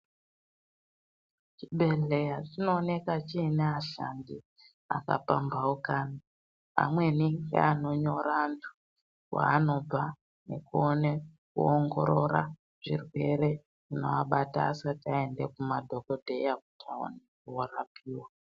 Chibhehleya chinoonekwa chiine ashandi vakapamhaukana amweni ngeanonyora antu kwaanobva nekuona kuongorora zvirwere zvinoabata asati vaenda kumadhokodheya kuti vandorapiwa.